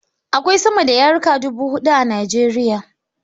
Akwai sama da yarika dubu huɗu a Nijeriya